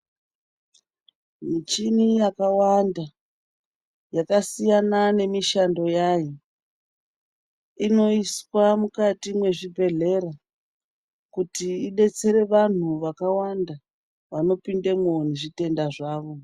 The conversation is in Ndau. Michini yakawanda yakasiyana nemishando yayo inoiswa mukati mwezvibhedhlera. Kuti ibetsere vantu vakawanda vanopindemwo nezvitenda zvavo.